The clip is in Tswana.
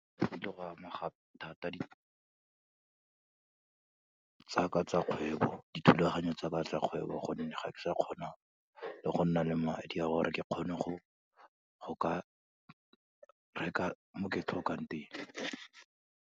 Go kile gwa amega thata tsaka tsa kgwebo, dithulaganyo tsa ka tsa kgwebo, gonne ga ke sa kgona go nna le madi a gore ke kgone go ka reka mo ke tlhokang teng.